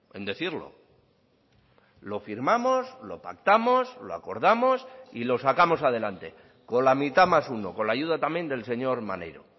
en decirlo lo firmamos lo pactamos lo acordamos y lo sacamos adelante con la mitad más uno con la ayuda también del señor maneiro